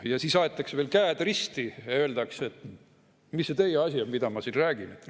Ja siis aetakse veel käed risti ja öeldakse: "Mis see teie asi on, mida ma siin räägin?